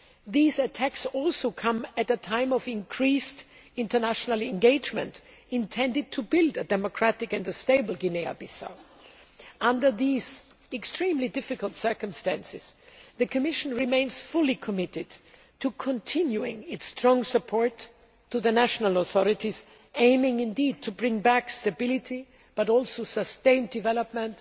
These attacks also come at a time of increased international engagement, intended to build a democratic and a stable Guinea Bissau. Under these extremely difficult circumstances, the Commission remains fully committed to continuing its strong support to the national authorities, aiming to bring back stability but also to sustain development.